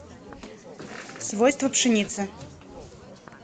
свойства пшеницы